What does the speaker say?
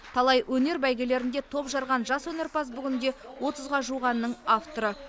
талай өнер бәйгелерінде топ жарған жас өнерпаз бүгінде отызға жуық әннің авторы